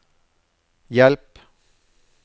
hjelp